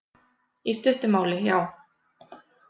Í stuttu máli, já.